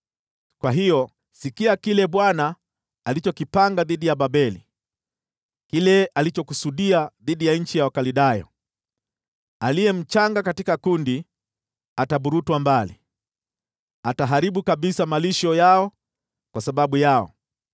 Kwa hiyo, sikia kile Bwana alichokipanga dhidi ya Babeli, kile alichokusudia dhidi ya nchi ya Wakaldayo: Aliye mchanga katika kundi ataburutwa mbali. Yeye ataharibu kabisa malisho yao kwa sababu yao.